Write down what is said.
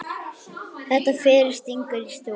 Þetta fyrir stingur í stúf.